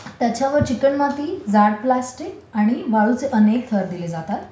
त्याच्यावर चिकणमाती, जाड प्लास्टिक आणि वाळूचे अनेक थर दिले जातात